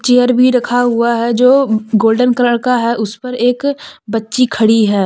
Chair भी रखा हुआ है जो गोल्डन कलर का है उस पर एक बच्ची खड़ी है।